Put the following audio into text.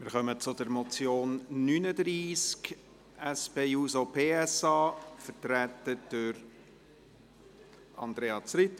Wir kommen zum Traktandum 39, einer Motion der SP-JUSO-PSA.